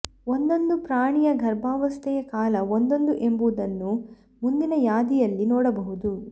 ಒಂದೊಂದು ಪ್ರಾಣಿಯ ಗರ್ಭಾವಸ್ಥೆಯ ಕಾಲ ಒಂದೊಂದು ಎಂಬುದನ್ನು ಮುಂದಿನ ಯಾದಿಯಲ್ಲಿ ನೋಡಬಹುದು